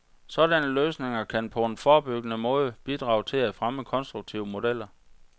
Sådanne løsninger kan på en forebyggende måde bidrage til at fremme konstruktive modeller.